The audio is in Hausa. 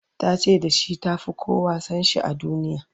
ta ce da shi ta Fi kowa San shi a duniya